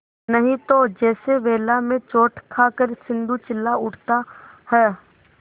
नहीं तो जैसे वेला में चोट खाकर सिंधु चिल्ला उठता है